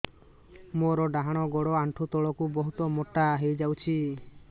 ମୋର ଡାହାଣ ଗୋଡ଼ ଆଣ୍ଠୁ ତଳକୁ ବହୁତ ମୋଟା ହେଇଯାଉଛି